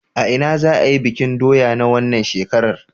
A ina za'a yi bikin doya na wannan shekarar?